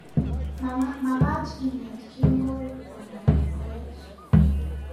Magaat ingeet kemboi kotomo koech***